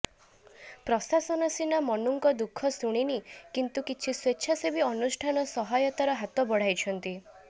ପ୍ରଶାସନ ସିନା ମନୁଙ୍କ ଦୁଃଖ ଶୁଣିନି କିନ୍ତୁ କିଛି ସ୍ବେଚ୍ଛାସେବୀ ଅନୁଷ୍ଠାନ ସହାୟତାର ହାତ ବଢାଇଛନ୍ତି